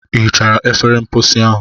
Ị hichara efere mposi ahụ?